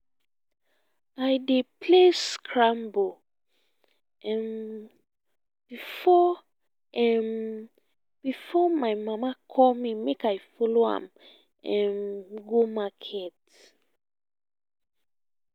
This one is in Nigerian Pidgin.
i dey play scrabble um before um before my mama call me make i follow am um go market